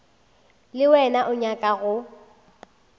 le wena o nyaka go